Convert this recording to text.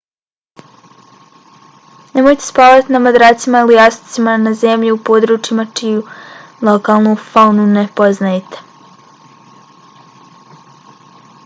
nemojte spavati na madracima ili jastucima na zemlji u područjima čiju lokalnu faunu ne poznajete